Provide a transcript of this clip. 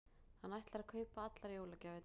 Hann ætlar að kaupa allar jólagjafirnar.